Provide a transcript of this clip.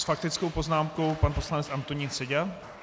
S faktickou poznámkou pan poslanec Antonín Seďa.